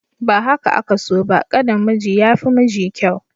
Ba haka aka so ba, ƙanin miji ya fi miji kyau.